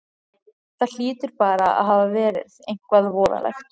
Það hlýtur bara að hafa verið eitthvað voðalegt.